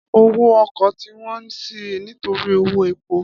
Ọ̀wo ọ̀kọ́ tí won ṣí nitori ọ̀won ẹpó